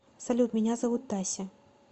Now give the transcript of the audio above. салют меня зовут тася